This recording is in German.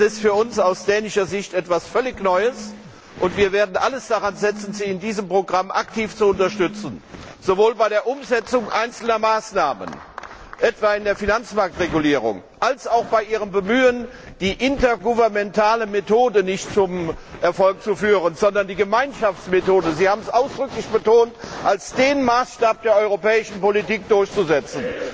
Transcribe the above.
Das ist für uns aus dänischer Sicht etwas völlig Neues, und wir werden alles daran setzen, Sie in diesem Programm aktiv zu unterstützen, sowohl bei der Umsetzung einzelner Maßnahmen etwa in der Finanzmarktregulierung als auch bei ihrem Bemühen, nicht die intergouvernementale Methode zum Erfolg zu führen, sondern die Gemeinschaftsmethode Sie haben es ausdrücklich betont als den Maßstab der europäischen Politik durchzusetzen.